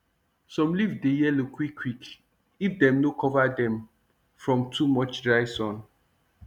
some leaf dey yellow quick quick if dem no cover dem from too much dry sun